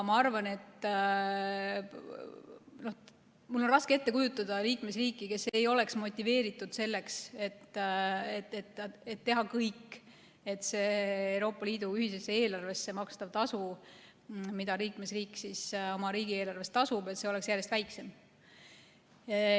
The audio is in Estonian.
Mul on raske ette kujutada liikmesriiki, kes ei oleks motiveeritud tegemaks kõik selleks, et see Euroopa Liidu ühisesse eelarvesse makstav tasu, mida liikmesriik oma riigieelarvest tasub, oleks järjest väiksem.